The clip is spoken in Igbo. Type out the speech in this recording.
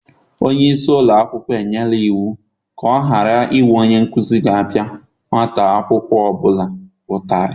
Onye isi ụlọ akwụkwọ enyela iwu ka ọ ghara inwe onye nkụzi ga-apịa nwata akwụkwọ ọ bụla ụtarị.